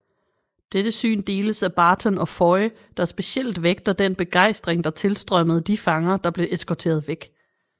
Dette syn deles af Barton og Foy der specielt vægter den begejstring der tilstrømmede de fanger der blev eskorteret væk